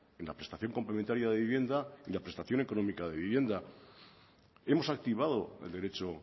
en la prestación complementaria de vivienda y la prestación económica de vivienda hemos activado el derecho